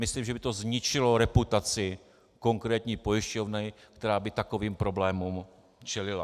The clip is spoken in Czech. Myslím, že by to zničilo reputaci konkrétní pojišťovny, která by takovým problémům čelila.